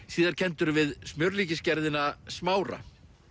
síðar kenndur við Smára